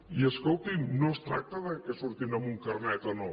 i escolti’m no es tracta que surtin amb un carnet o no